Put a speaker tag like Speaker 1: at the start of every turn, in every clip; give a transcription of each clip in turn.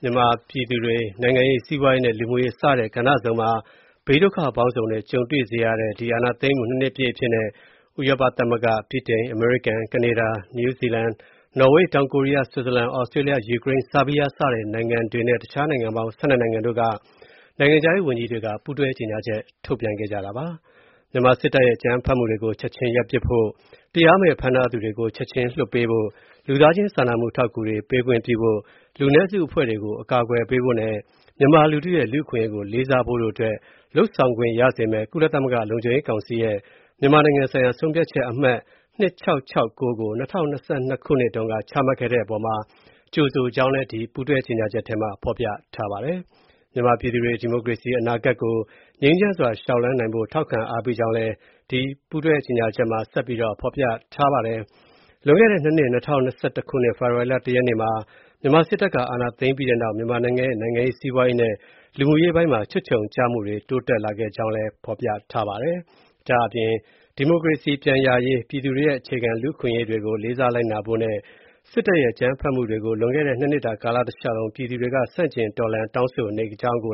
Speaker 1: မြန်မာပြည်သူတွေ နိုင်ငံရေး၊ စီးပွားရေးနဲ့ လူမှုရေး စတဲ့ ကဏ္ဍစုံမှာ ဘေးဒုက္ခပေါင်းစုံနဲ့ ကြုံတွေ့ရစေတဲ့ စစ်အာဏာသိမ်းမှု ၂ နှစ် အဖြစ်နဲ့ ဥရောပသမဂ္ဂ၊ ဗြိတိန်၊ အမေရိကန်၊ ကနေဒါ၊ နယူးဇီလန်၊ နော်ဝေး၊ တောင်ကိုရီးယား၊ ဆွစ်ဇာလန်၊ သြစတြေးလျ၊ ယူကရိန်း၊ ဆားဘီးယားစတဲ့ နိုင်ငံတွေနဲ့ တခြား နိုင်ငံပေါင်း ၁၂ နိုင်ငံတို့က နိုင်ငံခြားရေးဝန်ကြီးတွေက ပူးတွဲကြေညာချက်တစောင်ထုတ်ပြန်ခဲ့ပါတယ်။ မြန်မာစစ်တပ်ရဲ့ အကြမ်းဖက်မှုတွေ ချက်ချင်းရပ်ပစ်ဖို့၊ တရားမဲ့ဖမ်းထားသူတွေကို ချက်ချင်းလွှတ်ပေးဖို့၊ လူသားချင်းစာနာမှု အထောက်ကူတွေ ပေးခွင့်ပြုဖို့၊ လူနည်းစုအဖွဲ့တွေကို အကာကွယ်ပေးဖို့နဲ့ မြန်မာလူထုရဲ့ လူ့အခွင့်ရေးကို လေးစားဖို့တို့အတွက် လုပ်ဆောင်ခွင့်ရစေမယ့် ကုလသမဂ္ဂလုံခြုံရေးကောင်စီရဲ့ မြန်မာနိုင်ငံဆိုင်ရာ ဆုံးဖြတ်ချက် အမှတ် ၂၆၆၉ ကို ၂၀၂၂ တုန်းက ချမှတ်ခဲ့တဲ့အပေါ်မှာ ကြိုဆိုကြောင်း ဒီပူးတွဲကြေညာချက်မှာ ဖော်ပြထားပါတယ်။ မြန်မာပြည်သူတွေ ဒီမိုကရေစီအနာဂတ်ကို ငြိမ်းချမ်းစွာ လျှောက်လှမ်းနိုင်ဖို့ ထောက်ခံအားပေးကြောင်းလည်း ဒီပူးတွဲကြေညာချက်မှာ ဖော်ပြထားပါတယ်။ လွန်ခဲ့တဲ့ ၂ နှစ်၂၀၂၁ ဖေဖော်ဝါရီလ ၁ ရက်နေ့မှာ မြန်မာစစ်တပ်က အာဏာသိမ်းခဲ့ပြီးနောက် မြန်မာနိုင်ငံရဲ့ နိုင်ငံရေး၊ စီးပွားရေးနဲ့ လူမှုရေးပိုင်းမှာ ချွတ်ခြုံကျမှုတွေ တိုးလာခဲ့ကြောင်း၊ ဒီမိုကရေစီ ပြန်ရရှိရေး၊ ပြည်သူတွေရဲ့ အခြေခံလူ့အခွင့်အရေးတွေကို လေးစားလိုက်နာဖို့နဲ့ စစ်တပ်ရဲ့ အကြမ်းဖက်မှုတွေကို လွန်ခဲ့တဲ့ ၂ နှစ်တာ ကာလတလျှောက်လုံး ပြည်သူတွေက ဆန့်ကျင်တော်လှန်၊ တောင်းဆိုနေခဲ့ကြကြောင်း၊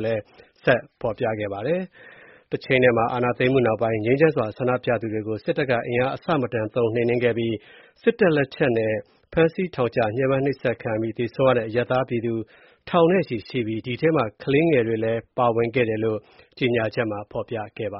Speaker 1: အာဏာသိမ်းမှုနောက်ပိုင်း ငြိမ်းချမ်းစွာ ဆန္ဒပြသူတွေကို စစ်တပ်က အင်အားအဆမတန်သုံး နှိမ်နင်းခဲ့ကြောင်း၊ စစ်တပ်လက်ချက်နဲ့ ဖမ်းဆီးထောင်ချ ညှင်းပန်းနှိပ်စက်ခံရပြီး သေဆုံးရတဲ့ အရပ်သားပြည်သူထောင်နဲ့ချီရှိပြီး ဒီထဲမှာ ကလေးငယ်တွေလည်း ပါဝင်ကြောင်း ကြေညာချက်မှာ ဖော်ပြထားပါ